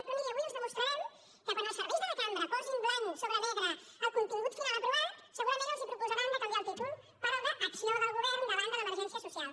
però miri avui els demostrarem que quan els serveis de la cambra posin blanc sobre negre al contingut final aprovat segurament els proposaran de canviar el títol pel d’ acció del govern davant de l’emergència social